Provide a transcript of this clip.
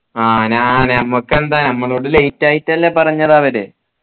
ആഹ് ഞാന് ഞമ്മക്കെന്താ ഞമ്മളോട് late ആയിട്ടല്ലേ പറഞ്ഞത് അവര്